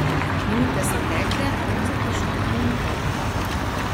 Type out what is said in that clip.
Minute so tekle, brez vprašanj in odgovorov.